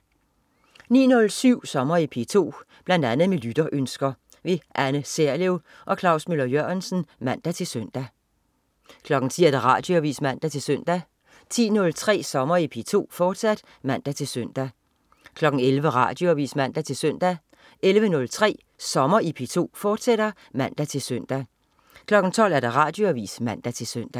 09.07 Sommer i P2. Bl.a. med lytterønsker. Anne Serlev/Klaus Møller-Jørgensen (man-søn) 10.00 Radioavis (man-søn) 10.03 Sommer i P2, fortsat (man-søn) 11.00 Radioavis (man-søn) 11.03 Sommer i P2, fortsat (man-søn) 12.00 Radioavis (man-søn)